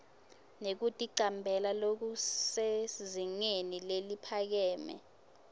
nekuticambela lokusezingeni leliphakeme